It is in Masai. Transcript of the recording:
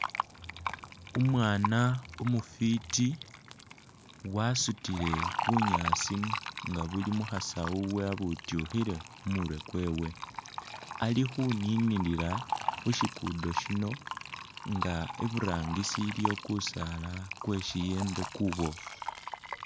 Umwana umufiti wasutile bunyaasi nga buli mukhasawu wavutyukhile khumurwe kwewe, alikhuninikila khushiguddo shino nga iburangisi iliyo kusaala kwesiyembe kubofu